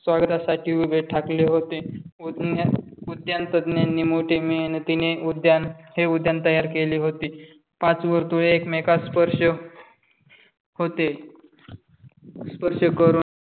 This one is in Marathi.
स्वागतासाठी उभे ठाकले होते. उद्यान विज्ञान तज्ञांनी मोठे मेहनतीने उद्यान हे उद्यान तयार केले होते. पाच वर्तुळे एकमेकास स्पर्श होते. स्पर्श करून